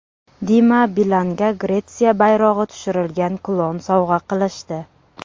Dima Bilanga Gretsiya bayrog‘i tushirilgan kulon sovg‘a qilishdi.